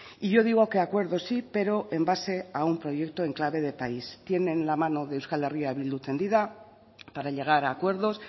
y yo digo que acuerdo sí pero en base a un proyecto en clave de país tienen la mano de euskal herria bildu tendida para llegar a acuerdos